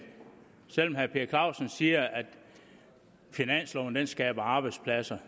herre per clausen siger at finansloven skaber arbejdspladser